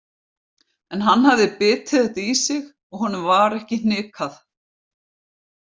En hann hafði bitið þetta í sig og honum var ekki hnikað.